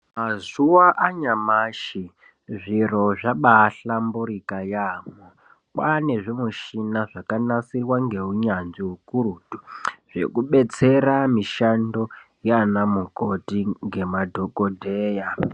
Mazuva anyamashi zviro zvabahlambirika yaamho, kwane zvimishina zvakanasirwa ngeunyanzvi hukurutu. Zvekubetsera mishando yana mukoti ngemadhogodheya.